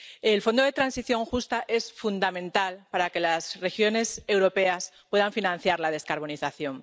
El Fondo de Transición Justa es fundamental para que las regiones europeas puedan financiar la descarbonización.